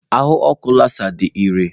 Ahụ ọkụ Lasá dị iré.